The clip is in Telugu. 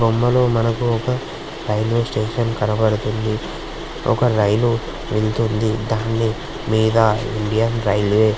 బొమ్మలో మనకు ఒక రైల్వే స్టేషన్ కనబడుతోంది. ఒక రైలు వెళుతుంది. దాని మీద ఇండియన్ రైల్వే --